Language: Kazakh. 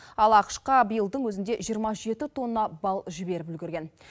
ал ақш қа биылдың өзінде жиырма жеті тонна бал жіберіп үлгерген